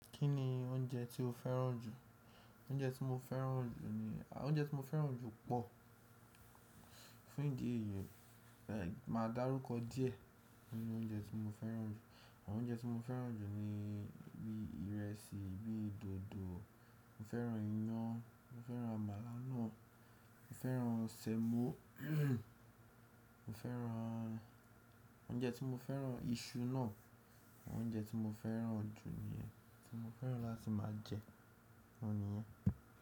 Kí ni oúnjẹ tí o fẹ́ràn jù? Oúnjẹ tí mo fẹ́ràn jù ni, oúnjẹ tí mo fẹ́ràn jù pọ̀. Fún ìdí èyí, máa dárúkọ díẹ̀ nínu oúnjẹ tí mo fẹ́ràn jù. Àwọn oúnjẹ tí mo fẹ́ràn jù ni bíi ìrẹsì, bíi dòdò, mo fẹ́ràn iyán, mo fẹ́ràn àmàlà náà, mo fẹ́ràn semo, mo fẹ́ràn, oúnjẹ tí mo fẹ́ràn, iṣu náà. Àwọn oúnjẹ tí mo fẹ́ràn jù niyẹn, tí mo fẹ́ràn láti máa jẹ, òun ni yẹn.